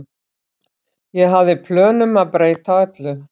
Ég hafði plön um að breyta öllu.